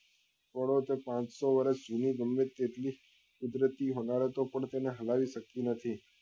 પડો તો પાંચસો વર્ષ જૂની ગમે તેટલી કુદરતી હમારતો પણ તેને હલાવી શકી નતી